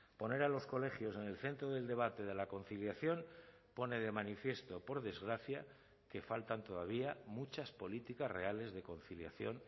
poner a los colegios en el centro del debate de la conciliación pone de manifiesto por desgracia que faltan todavía muchas políticas reales de conciliación